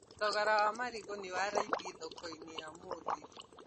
Thogora wa marĩgũ nĩ wa raithĩ thokoinĩ ya ũmũthĩ